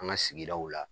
An ka sigidaw la